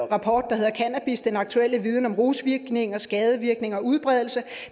rapport der hedder cannabis den aktuelle viden om rusvirkninger skadevirkninger og udbredelse